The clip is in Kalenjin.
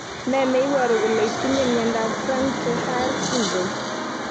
Ne ne iporu kolr itinye miondap Frank Ter Haar syndrome?